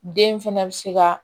Den fɛnɛ bɛ se ka